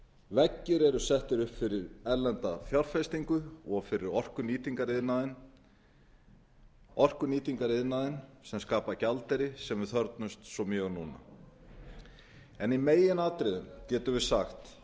veggir eru settir upp fyrir erlenda fjárfestingu og fyrir orkunýtingariðnaðinn sem skapar gjaldeyri sem við þörfnumst svo mjög núna í meginatriðum getum við sagt